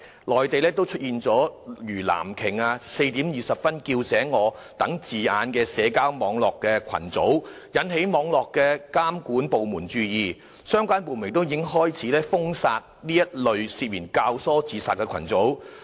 內地亦出現了如"藍鯨 "，"4:20 叫醒我"等字眼的社交網絡群組，引起網絡監管部門注意，相關部門亦開始封殺這一類涉嫌教唆自殺群組。